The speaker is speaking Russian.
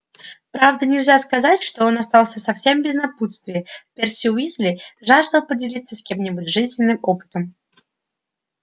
правда нельзя сказать что он остался совсем без напутствия перси уизли жаждал поделиться с кем-нибудь жизненным опытом